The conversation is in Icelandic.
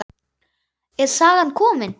Er sagan komin?